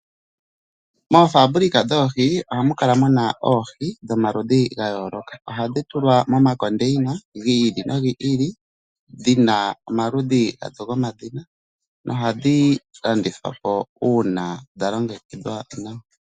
Momahangano goohi ohamu kala muna oohi dhomaludhi gayooloka. Ohadhi tulwa momandini gi ili nogi ili, dhina omaludhi gatulwa omadhina nohadhi landithwapo uuna dhalongekidhwa nawa.